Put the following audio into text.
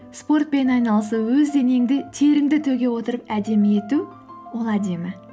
спортпен айналысу өз денеңді теріңді төге отырып әдемі ету ол әдемі